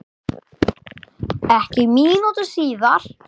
Ekki mínútu síðar